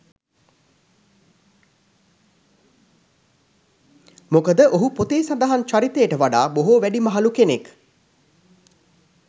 මොකද ඔහු පොතේ සඳහන් චරිතයට වඩා බොහෝ වැඩිමහලු කෙනෙක්.